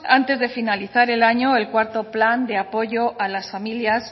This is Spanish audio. antes de finalizar el año el cuarto plan de apoyo a las familias